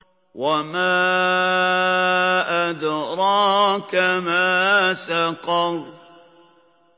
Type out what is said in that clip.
وَمَا أَدْرَاكَ مَا سَقَرُ